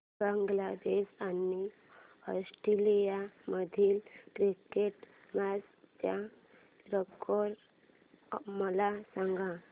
बांगलादेश आणि ऑस्ट्रेलिया मधील cricket match चा स्कोअर मला सांगा